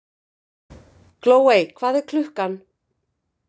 Glóey, hvað er klukkan?